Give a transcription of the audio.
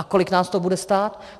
A kolik nás to bude stát?